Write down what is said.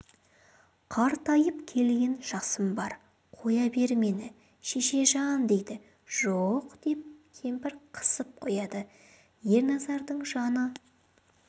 қартайып келген жасым бар қоя бер мені шешежан дейді жоқ деп кемпір қысып қояды ерназардың жаны